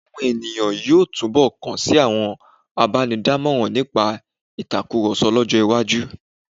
Àwọn ènìyàn yóò túnbọ̀ kan sí àwọn abánidámọ̀ràn nípa ìtakùrọ̀sọ lọ́jọ́-iwájú.